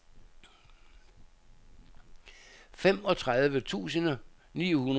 femogtredive tusind ni hundrede og tretten